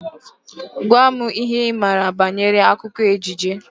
Gwa m ihe Ị maara banyere akụkọ ejije!